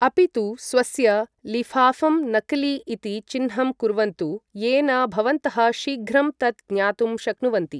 अपि तु स्वस्य लिफाफं नकली इति चिह्नं कुर्वन्तु येन भवन्तः शीघ्रं तत् ज्ञातुं शक्नुवन्ति ।